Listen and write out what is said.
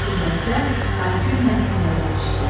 Bütün dəstə hay-küylə yeməyə girişdi.